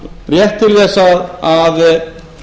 rétt til þess að